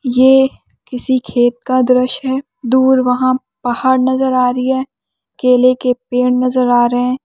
ये किसी खेत का दृश्य है दूर वहां पहाड़ नजर आ रही हैं केले के पेड़ नजर आ रहे हैं।